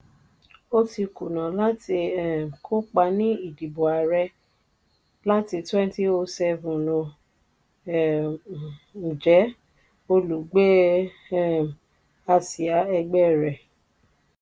ó ti kùnà láti um kópa ní ìdìbò ààrẹ láti two thousand seven ó um jẹ́ olùgbé um àsíá ẹgbẹ́ rẹ̀.